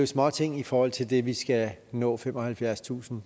småting i forhold til det vi skal nå nemlig femoghalvfjerdstusind